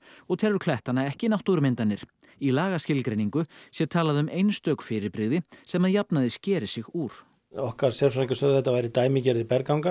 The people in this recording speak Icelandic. og telur klettana ekki náttúrumyndanir í lagaskilgreiningu sé talað um einstök fyrirbrigði sem að jafnaði skeri sig úr okkar sérfræðingar sögðu að þetta væru dæmigerðir